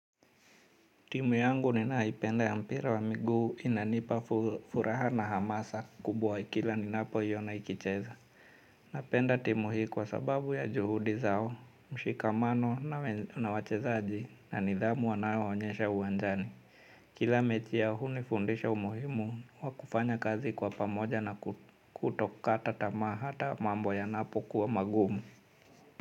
Timu yangu ninayependa ya mpira wa miguu inanipa furaha na hamasa kubwa kila ninapo iona ikicheza. Napenda timu hii kwa sababu ya juhudi zao, mshikamano na wachezaji na nidhamu wanao onyesha uwanjani. Kila mechi yao hunifundisha umuhimu wa kufanya kazi kwa pamoja na kutokata tamaa hata mambo yanapo kuwa magumu.